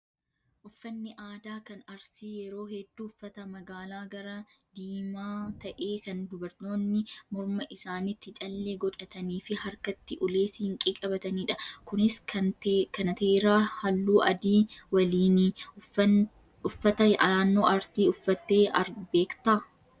Uffanni aadaa kan arsii yeroo hedduu uffata magaala gara diimaa ta'ee kan dubartoonni morma isaaniitti callee godhatanii fi harkatti ulee siinqee qabatanidha. Kunis kanateeraa halluu adii waliini. Uffata naannoo Arsii uffattee beektaa?